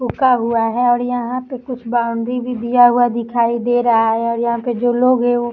झुका हुआ है और यहाँ पे कुछ बाउंड्री भी दिया हुआ दिखाई दे रहा है और यहाँ पर जो लोग है वो--